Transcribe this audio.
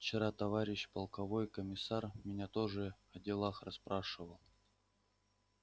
вчера товарищ полковой комиссар меня тоже о делах расспрашивал